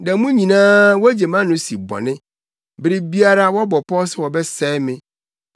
Da mu nyinaa wogye mʼano si bɔne; bere biara wɔbɔ pɔw sɛ wɔbɛsɛe me.